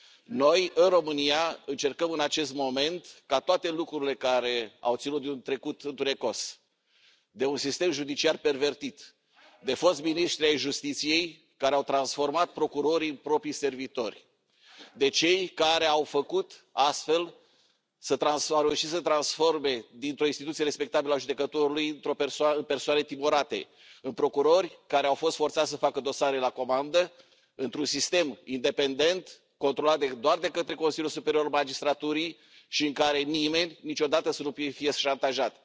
Noi, în România, încercăm în acest moment ca toate lucrurile care au ținut de un trecut întunecos, de un sistem judiciar pervertit, de foști miniștri ai Justiției care au transformat procurorii în propriii servitori, de cei care au reușit astfel să transforme o instituție respectabilă a judecătorului în persoane timorate, în procurori care au fost forțați să facă dosare la comandă, să devină un sistem independent, controlat doar de către Consiliul Superior al Magistraturii și în care nimeni, niciodată, să nu fie șantajat.